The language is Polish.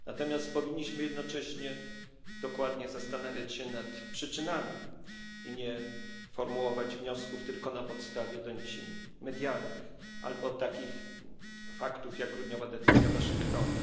Natomiast powinniśmy jednocześnie dokładnie zastanowić się nad przyczynami i nie formułować wniosków tylko na podstawie doniesień medialnych albo faktów takich jak grudniowa decyzja Waszyngtonu.